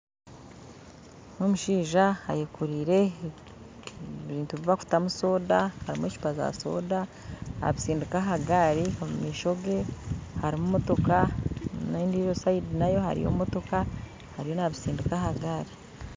Nindeeba omushaija ayekoreire ebintu ebibakutamu soda harimu ecuupa za soda nabitsindiika aha gari omumaisho gye harimu motooka n'endijo sayidi nayo hariyo motooka ariyo nabitsindiika aha gari